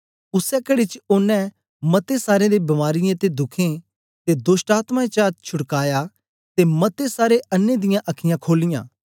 उसै कड़ी च ओनें मते सारें दी बीमारीयें ते दुखें ते दोष्टआत्मायें चा छुड़काया ते मते सारे अन्नें दियां अखीयाँ खोलीयां